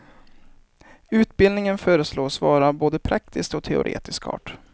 Utbildningen föreslås vara av både praktisk och teoretisk art.